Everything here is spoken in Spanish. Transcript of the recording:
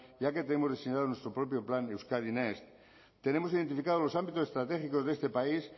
ya que tenemos diseñado nuestro propio plan euskadi next tenemos identificados los ámbitos estratégicos de este país